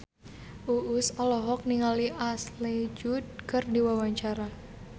Uus olohok ningali Ashley Judd keur diwawancara